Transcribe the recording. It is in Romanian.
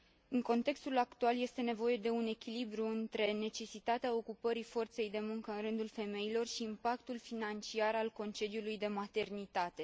În contextul actual este nevoie de un echilibru între necesitatea ocupării forței de muncă în rândul femeilor și impactul financiar al concediului de maternitate.